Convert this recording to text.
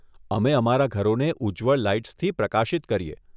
અમે અમારા ઘરોને ઉજ્જવળ લાઈટ્સથી પ્રકાશિત કરીએ.